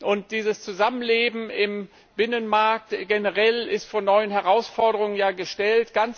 Und dieses Zusammenleben im Binnenmarkt ist ja generell vor neue Herausforderungen gestellt.